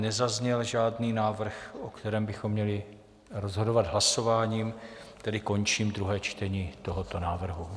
Nezazněl žádný návrh, o kterém bychom měli rozhodovat hlasováním, tedy končím druhé čtení tohoto návrhu.